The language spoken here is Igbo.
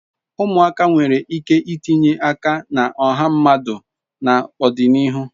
Umuaka nwere ike itinye aka na oha mmadu na odinihu